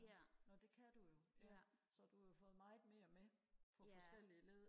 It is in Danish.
ja nå det kan du jo så har du jo fået meget mere med på forskellige led